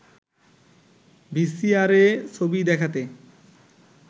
ভিসিআরএ ছবি দেখাতে